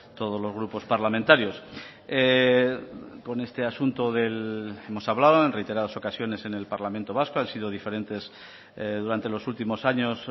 todos los grupos parlamentarios con este asunto hemos hablado en reiteradas ocasiones en el parlamento vasco han sido diferentes durante los últimos años